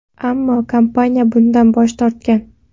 Ammo kompaniya bundan bosh tortgan.